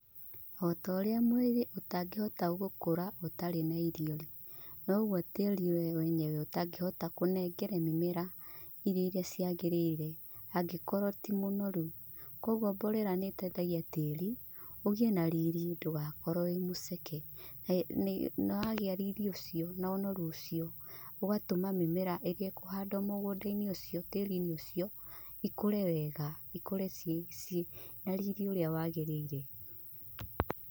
Otorĩa mwĩrĩ ũtangĩhota gũkũra ũtarĩ na irio-rĩ, noguo tĩri we wenyewe ũtangĩhota kũnengere mĩmera irio iria ciagĩrĩire angĩkorwo ti mũnoru. Koguo mborera nĩ ĩteithagia tĩri ũgĩe na riri ndũgakorwo wĩmuceke, na wagĩa riri ũcio no ũnoru ũcio ũgatũma mĩmera ĩrĩa ĩkũhandwo mũgũnda-inĩ ũcio, tĩri-inĩ ũcio ikũre wega, cikũre ciĩ na riri ũrĩa wagĩrĩire.